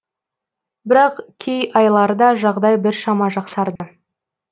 бірақ кей айларда жағдай біршама жақсарды